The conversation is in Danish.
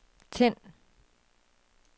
tænd